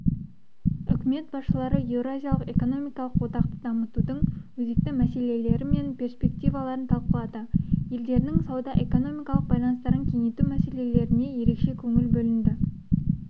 үкімет басшылары еуразиялық экономикалық одақты дамытудың өзекті мәселелері мен перспективаларын талқылады елдерінің сауда-экономикалық байланыстарын кеңейту мәселелеріне ерекше көңіл бөлінді